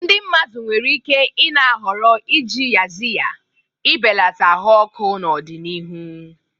Ndị mmadụ nwere ike i-na ahọrọ iji Yaxiya ị belata ahụ ọkụ n'ọdịnihu.